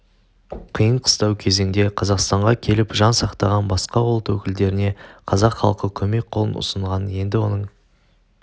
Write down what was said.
қиын-қыстау кезеңде қазақстанға келіп жан сақтаған басқа ұлт өкілдеріне қазақ халқы көмек қолын ұсынғанын енді оның